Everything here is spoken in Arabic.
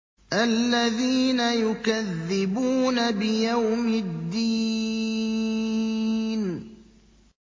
الَّذِينَ يُكَذِّبُونَ بِيَوْمِ الدِّينِ